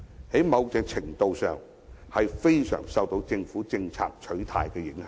在某程度上，是非常受政府政策的取態所影響。